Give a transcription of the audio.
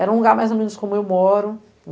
Era um lugar mais ou menos como eu moro.